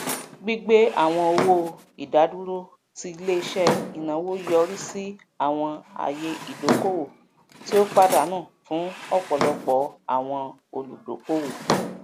gbigbé àwọn owó ìdádúró ti iléiṣẹ ináwó yọrí sí àwọn àyè ìdókòwò tí ó padànù fún ọpọlọpọ àwọn olùdókòwò